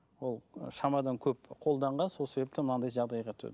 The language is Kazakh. ол шамадан көп қолданған сол себепті мынандай жағдайға